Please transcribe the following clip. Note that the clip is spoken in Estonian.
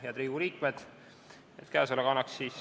Head Riigikogu liikmed!